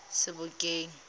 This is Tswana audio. sebokeng